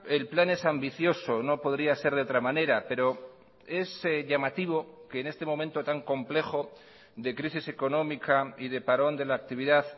el plan es ambicioso no podría ser de otra manera pero es llamativo que en este momento tan complejo de crisis económica y de parón de la actividad